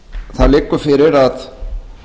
það liggur fyrir að